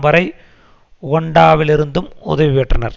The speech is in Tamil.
வரை உகாண்டாவிலிருந்தும் உதவி பெற்றனர்